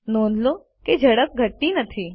નોંધ લો કે ઝડપ ઘટતી નથી